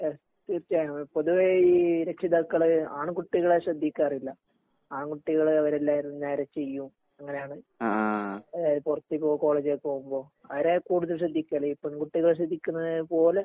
എഹ് തീർച്ചയായും പൊതുവേ ഈ രക്ഷിതാക്കള് ആൺകുട്ടികളെ ശ്രദ്ധിക്കാറില്ല. ആൺകുട്ടികള് അവരെല്ലാരും നേരെ ചെയ്യും അങ്ങനാണ് അതായത് പൊറത്തേക്ക് പോകുമ്പോ കോളേജിലേക്ക് പോകുമ്പോ അവരെ കൂടുതൽ ശ്രദ്ധിക്കല് പെൺകുട്ടികളെ ശ്രദ്ധിക്കുന്നതുപ്പോലെ